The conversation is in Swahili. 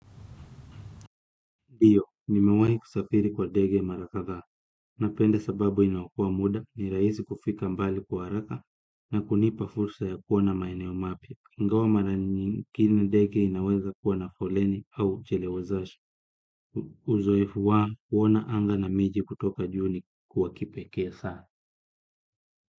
Ndiyo, nimewahi kusafiri kwa ndege mara kadha, napenda sababu inaokoa muda, ni rahisi kufika mbali kwa haraka, na kunipa fursa ya kuona maeneo mapya. Ingawa mara nyingine ndege inaweza kuwa na foleni au uchelewazashi, uzoefu wa kuona anga na miji kutoka juu ni wa kipekee sana.